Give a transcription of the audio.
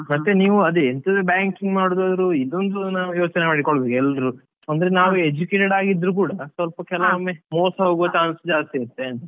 ಮತ್ತೆ ನೀವ್ ಅದೇ ಎಂತದೇ banking ಮಾಡುದಾದ್ರು ಇದೊಂದು ನಾವ್ ಯೋಚನೆ ಮಾಡಿಕೊಳ್ಬೇಕು ಎಲ್ರು ಅಂದ್ರೆ ನಾವ್ educated ಆಗಿದ್ರು ಕೂಡ ಸ್ವಲ್ಪ ಕೆಲವೊಮ್ಮೆ ಮೋಸ ಹೋಗುವ chance ಜಾಸ್ತಿ ಇರುತ್ತೆ.